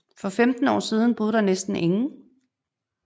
For femten år siden boede der næsten ingen